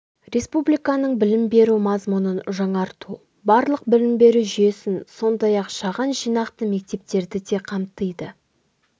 республиканың білім беру мазмұнын жаңарту барлық білім беру жүйесін сондай-ақ шағын жинақты мектептерді де қамтиды